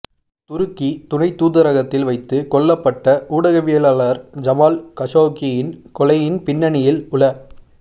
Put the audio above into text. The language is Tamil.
துருக்கி துணைத் தூதரகத்தில் வைத்து கொல்லப்பட்ட ஊடகவியலாளர் ஜமால் கஷோக்கியின் கொலையின் பின்னணியில் உள